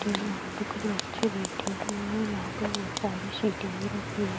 के यहाँ पर कुछ बच्चे बैठे हुए है और यहां पे बहुत सारी सीटें भी रखी हुई है।